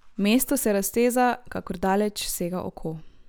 Mesto se razteza, kakor daleč sega oko.